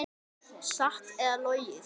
Satt eða logið.